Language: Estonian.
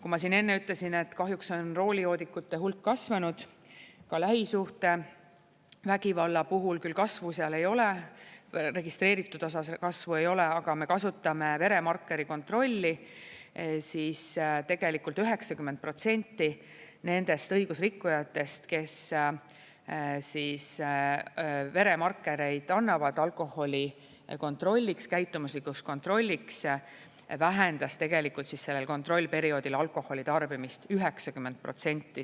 Kui ma siin enne ütlesin, et kahjuks on roolijoodikute hulk kasvanud, lähisuhtevägivalla puhul küll kasvu seal ei ole, registreeritud osas kasvu ei ole, aga me kasutame veremarkeri kontrolli, siis tegelikult 90% nendest õigusrikkujatest, kes veremarkereid annavad alkoholi kontrolliks, käitumuslikuks kontrolliks, vähendas tegelikult sellel kontrollperioodil alkoholi tarbimist 90%.